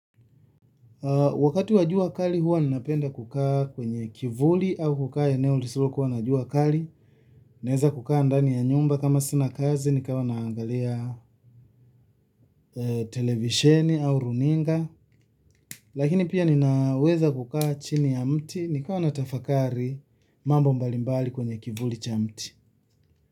Wakati wa jua kali huwa ninapenda kukaa kwenye kivuli au kukaa eneo lisilo kuwa najua kali. Naeza kukaa ndani ya nyumba kama sina kazi nikawa naangalia televisheni au runinga. Lakini pia ninaweza kukaa chini ya mti nikawa natafakari mambo mbalimbali kwenye kivuli cha mti.